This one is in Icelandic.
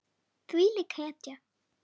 Þvílík hetja.